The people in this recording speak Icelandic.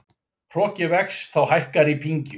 Hroki vex þá hækkar í pyngju.